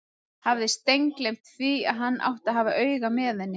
Hafði steingleymt því að hann átti að hafa auga með henni!